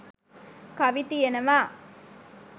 කවි තියෙනවා.